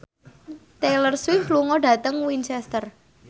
Taylor Swift lunga dhateng Winchester